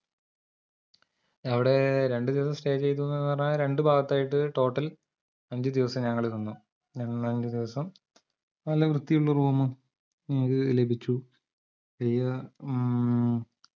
അവടെ രണ്ടുദിവസ്സം stay ചെയ്തൂന്ന് പറഞ്ഞ രണ്ടുഭാഗത്തായിട്ട് total അഞ്ചുദിവസം ഞങ്ങൾ നിന്നു നിന്ന അഞ്ചുദിവസം നല്ല വൃത്തിയുള്ള room ഉം ഞങ്ങൾക്ക് ലഭിച്ചു മ്മ്